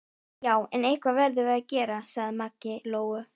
Já, en eitthvað verðum við að gera, sagði Maggi Lóu.